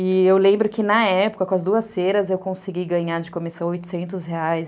E eu lembro que na época, com as duas feiras, eu consegui ganhar de comissão oitocentos reais.